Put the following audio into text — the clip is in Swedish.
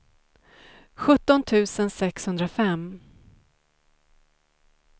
sjutton tusen sexhundrafem